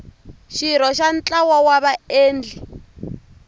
xirho xa ntlawa wa vaendli